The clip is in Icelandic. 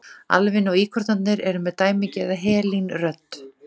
Alvin og íkornarnir eru með dæmigerða helín-rödd.